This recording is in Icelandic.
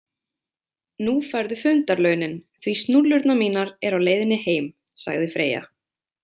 Nú færðu fundarlaunin því snúllurnar mínar eru á leiðinni heim, sagði Freyja.